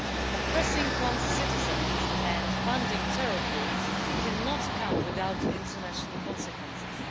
Oppressing one's citizens and funding terror groups cannot come without international consequences.